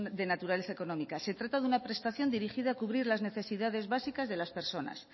de naturaleza económica se trata de una prestación dirigida a cubrir las necesidades básicas de las personas